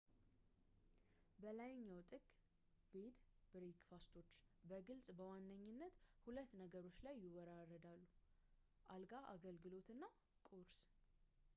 በላይኛው ጥግ፣ ቤድ&ብሬክፋስቶች በግልጽ በዋነኝነት ሁለት ነገሮች ላይ ይወዳደራሉ፡ አልጋ አገልግሎት እና ቁርስ